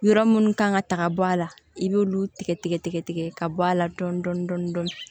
Yɔrɔ minnu kan ka taga bɔ a la i b'olu tigɛ tigɛ tigɛ ka bɔ a la dɔɔni dɔɔni dɔɔni